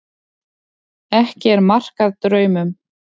Ekki er mark að draumum.